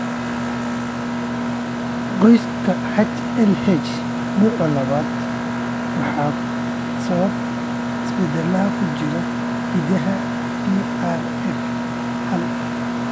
Qoyska HLH, nooca labaad waxaa sababa isbeddellada ku jira hiddaha PRF hal.